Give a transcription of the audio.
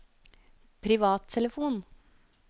privattelefon